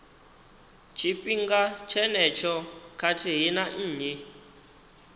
tshifhinga tshenetsho khathihi na nnyi